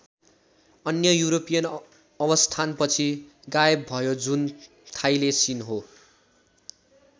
अन्य युरोपियन अवस्थानपछि गायब भयो जुन थाईलेसीन हो।